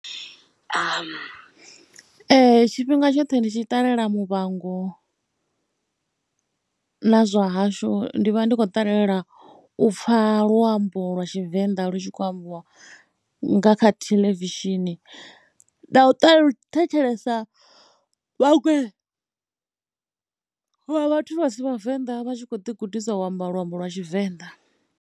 Ee tshifhinga tshoṱhe ndi tshi ṱalela Muvhango na zwa hashu, ndi vha ndi khou ṱalela u pfha luambo lwa Tshivenḓa lu tshi khou ambiwa nga kha theḽevishini, na u thetshelesa vhaṅwe ha vha vhathu vha si vhavenḓa vha tshi khou ḓigudisa u amba luambo lwa Tshivenḓa.